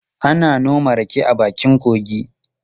Ana noma rake a bakin kogi.